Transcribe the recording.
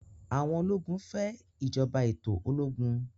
àwọn ológun fè ìjọba ètò ológun